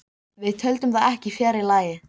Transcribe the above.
Rosalega er Fúsi góður hvíslaði Lilla að Möggu.